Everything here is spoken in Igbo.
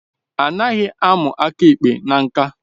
Anaghị amu aka ekpe na ṅka